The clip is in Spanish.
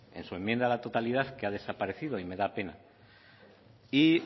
en su enmienda a la totalidad que ha desaparecido y me da pena y